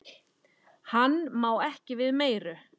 Hann má ekki við meiru.